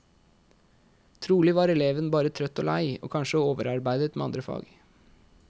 Trolig var eleven bare trøtt og lei, og kanskje overarbeidet med andre fag.